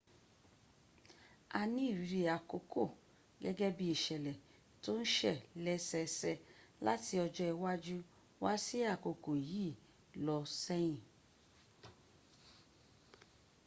a ní ìrírí àkókò gẹ́gẹ́ bí ìṣẹ̀lẹ̀ tó ń ṣẹ̀ lẹ́sẹsẹ láti ọjọ́ iwájú wá sí àkókò yìí lọ sẹ́yìn